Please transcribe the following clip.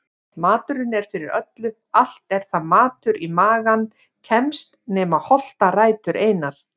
Maturinn er fyrir öllu allt er það matur í magann kemst nema holtarætur einar.